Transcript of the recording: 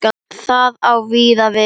Það á víða við.